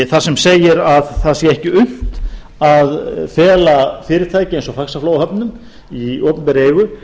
þar sem segir að það sé ekki unnt að fela fyrirtæki eins og faxaflóahöfnum í opinberri eigu